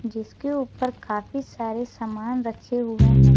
जिसके ऊपर काफी सारे सामान रखे हुए हैं।